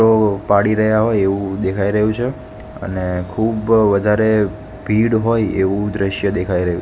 ઓ પાડી રહ્યા હોય એવું દેખાઈ રહ્યું છે અને ખૂબ વધારે ભીડ હોય એવું દ્રશ્ય દેખાય રહ્યું--